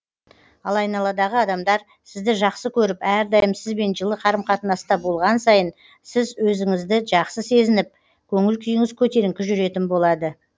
ал айналадағы адамдар сізді жақсы көріп әрдайым сізбен жылы қарым қатынаста болған сайын сіз өзіңізді жақсы сезініп көңіл күйіңіз көтеріңкі жүретін болады